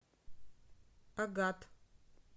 агат